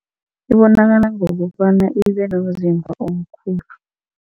Ibonakala ngokobana ibe nomzimba omkhulu.